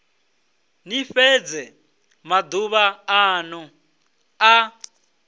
ni fhedze maduvha anu a